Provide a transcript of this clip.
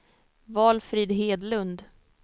Valfrid Hedlund